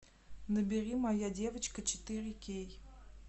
набери моя девочка четыре кей